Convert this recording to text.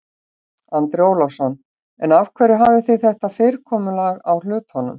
Andri Ólafsson: En af hverju hafið þið þetta fyrirkomulag á hlutunum?